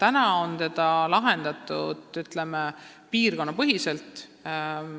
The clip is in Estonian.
Seda on täna lahendatud, ütleme, piirkonnapõhiselt.